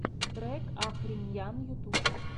трек ахри ньян ютуб